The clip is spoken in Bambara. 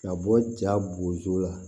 Ka bɔ ja bozo la